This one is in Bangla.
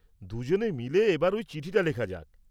দুজনে মিলে এবার ওই চিঠিটা লেখা যাক।